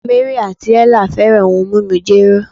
Mary ati Ella fẹran ohun mimu jero